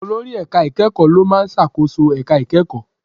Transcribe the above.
Olórí ẹ̀ka ìkẹ́kọ̀ọ́ ló máa ń ṣàkóso ẹ̀ka ìkẹ́kọ̀ọ́.